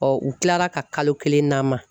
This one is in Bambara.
u kilara ka kalo kelen d'an ma.